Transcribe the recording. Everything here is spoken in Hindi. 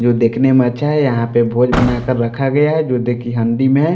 जो देखने में अच्छा है यहां पे भोज बनाकर रखा गया है जो देखिए हंडी में --